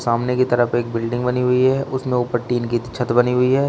अमने की तरफ एक बिल्डिंग बनी हुई है उसमें ऊपर टील की छत बनी हुई है।